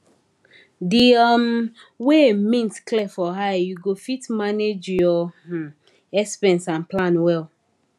di um way mint clear for eye you go fit manage your um expense and plan well